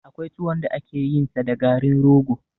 Akwai tuwon da ake yin sa da garin rogo